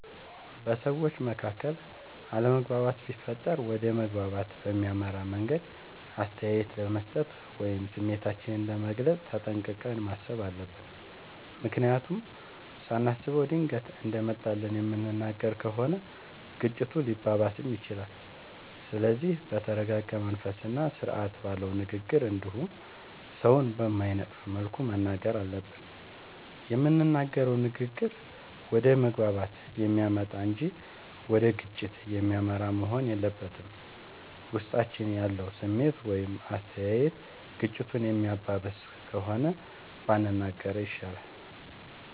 በሠዎች መካከል አለመግባባት ቢፈጠር ወደ መግባባት በሚያመራ መንገድ አስተያየት ለመስጠት ወይም ስሜታችንን ለመግለፅ ተጠንቅቀን ማሠብ አለብ። ምክንያቱም ሳናስበው ድንገት እንደመጣልን የምንናገር ከሆነ ግጭቱ ሊባባስም ይችላል። ስለዚህ በተረረጋ መንፈስና ስርአት ባለው ንግግር እንዲሁም ሠውን በማይነቅፍ መልኩ መናገር አለብን። የምንናገረውም ንግግር ወደ መግባባት የሚያመጣ እንጂ ወደ ግጭት የሚመራ መሆን የለበትም። ውስጣችን ያለው ስሜት ወይም አስተያየት ግጭቱን የሚያባብስ ከሆነ ባንናገረው ይሻላል።